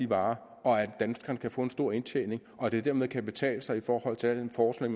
varer og at danskerne kan få en stor indtjening og det dermed kan betale sig i forhold til al den forskning